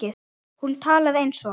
Hún talaði eins og